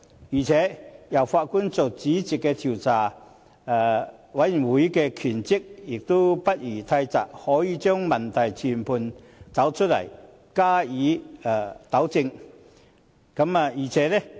此外，由法官擔任主席的調查委員會的職權範圍亦不宜太窄，可以把問題全盤找出來，加以糾正。